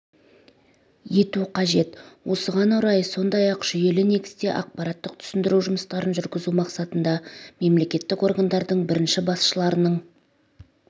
ету қажет осыған орай сондай-ақ жүйелі негізде ақпараттық-түсіндіру жұмыстарын жүргізу мақсатында мемлекеттік органдардың бірінші басшыларының